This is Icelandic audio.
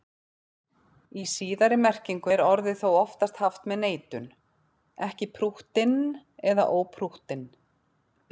Í síðari merkingunni er orðið þó oftast haft með neitun, ekki prúttinn eða óprúttinn.